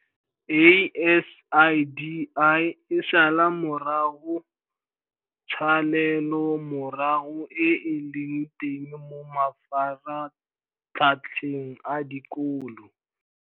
ASIDI e sala morago tshalelomorago e e leng teng mo mafaratlhatlheng a dikolo.